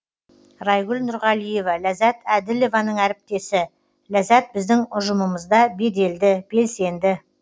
райгүл нұрғалиева ләззат әділованың әріптесі ләззат біздің ұжымымызда беделді белсенді